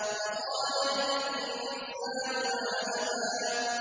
وَقَالَ الْإِنسَانُ مَا لَهَا